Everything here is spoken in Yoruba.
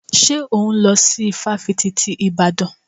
Ṣé òhún lọ sí ifáfitì ti Ìbàdàn?